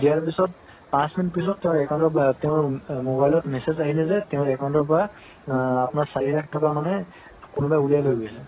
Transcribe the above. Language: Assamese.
দিয়াৰ পিছত পাঁচ মিনিট পিছত তাৰ account ত তাৰ mobile ত message আহিলে যে তেওৰ account ৰ পৰা আ আপোনাৰ চাৰি লাখ টকা মানে কোনৱাই উলিয়াই লই গৈছে